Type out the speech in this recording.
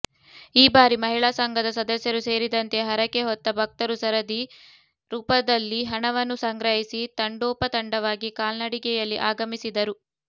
ಈ ಬಾರಿ ಮಹಿಳಾ ಸಂಘದ ಸದಸ್ಯರು ಸೇರಿದಂತೆ ಹರಕೆ ಹೊತ್ತ ಭಕ್ತರು ಸರದಿ ರೂಪದಲ್ಲಿಹಣವನ್ನು ಸಂಗ್ರಹಿಸಿ ತಂಡೋಪತಂಡವಾಗಿ ಕಾಲ್ನಡಿಗೆಯಲ್ಲಿಆಗಮಿಸಿದರು